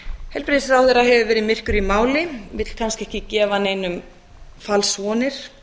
heilbrigðisráðherra hefur verið myrkur í máli vill kannski ekki gefa neinum falsvonir